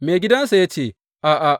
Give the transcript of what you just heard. Maigidansa ya ce, A’a.